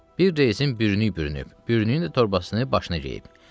Bir resini bürünüb, bürünü torbasını başına geyib.